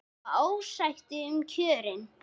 Það var ósætti um kjörin.